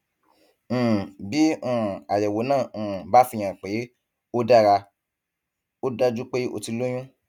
um bí um àyẹwò náà um bá fihàn pé ó dára ó dájú pé o ti lóyún